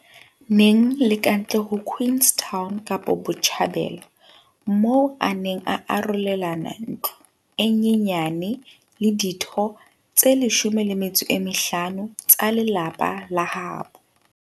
Neng le kantle ho Queenstown, kapo Botjhabela, moo a neng a arolelana ntlo e nyenyane le ditho tse 15 tsa lelapa la habo.